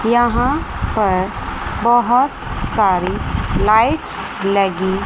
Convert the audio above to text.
यहां पर बहोत सारी लाइट्स लगी--